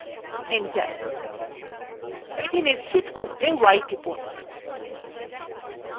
enter এটি নিশ্চিত করতে y টিপুন